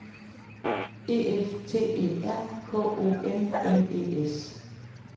E F T E R K O M M E S